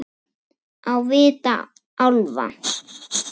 Á vit álfa